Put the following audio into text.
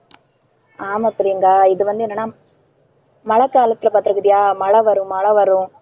ஆமா பிரியங்கா இது வந்து என்னனா மழைக்காலத்துல பாத்திருக்கிறியா? மழை வரும், மழை வரும்.